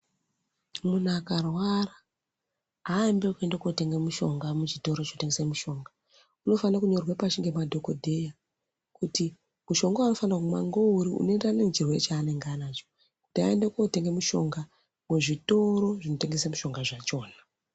Muntu akarwara haambi nekuende kotenga mushonga kuchitoro chinotengeswa mushonga unofanira kunyorerwa pashi ngemadhogodheya. Kuti mushonga vaanofano kunwa ngeuri unoenderana nechirere chaanenge anacho kuti aende kotenge mishonga muzvitoro zvinotengesa mishonga zvachona.